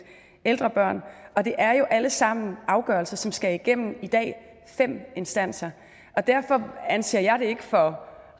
ældre børn og det er jo alle sammen afgørelser som skal igennem fem instanser derfor anser jeg det ikke for